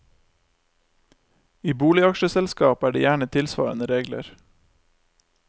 I boligaksjeselskap er det gjerne tilsvarende regler.